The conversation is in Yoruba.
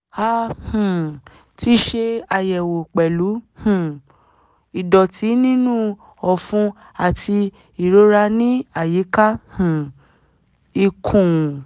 a um ti ṣe àyẹ̀wò pẹ̀lú um ìdọ̀tí nínú ọ̀fun àti ìrora ní àyíká um ikùn